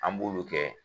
An b'olu kɛ